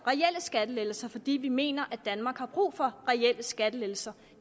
skattelettelser fordi vi mener at danmark har brug for reelle skattelettelser